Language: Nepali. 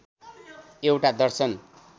एउटा दर्शन